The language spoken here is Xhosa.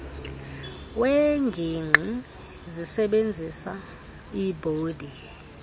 weengingqi zisebizisa iibhodi